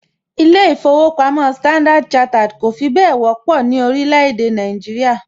ilé īfowòpamó Standard chartered kọ̀ fi bẹ́ẹ̀ wọ́pọ̀ ní orílẹ̀ èdè Nàìjíríà